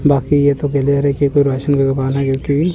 बाकी ये तो दिलेहरीके कोई रेशन है जो की